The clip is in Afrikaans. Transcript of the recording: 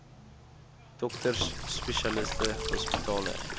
dokters spesialiste hospitale